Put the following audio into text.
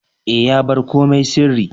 E, ya bar komai sirri.